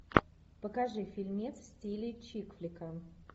покажи фильмец в стиле чикфлика